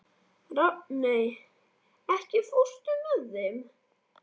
Rafney, ekki fórstu með þeim?